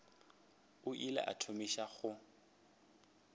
o ile a thomiša go